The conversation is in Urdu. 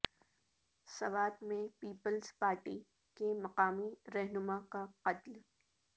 سوات میں پیپلز پارٹی کے مقامی رہنما کا قتل